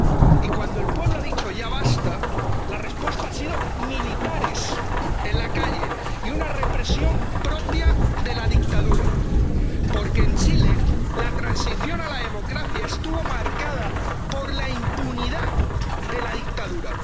Y cuando el pueblo ha dicho ya basta, la respuesta ha sido militares en la calle y una represión propia de la dictadura, porque, en Chile, la transición a la democracia estuvo marcada por la impunidad de la dictadura.